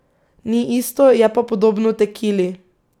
Ni isto, je pa podobno tekili.